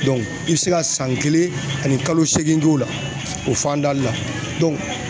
i be se ka san kelen ani kalo seegin k'o la o fanda la